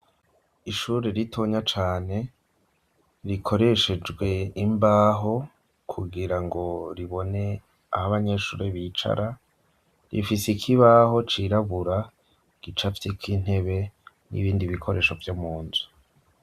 Ishure ritonya cane rikoreshejwe imbaho kugirango ribone aho abanyeshure bicara, rifise ikibaho cirabura gicafyeko intebe n'ibindi bikoresho vyo mu nzu.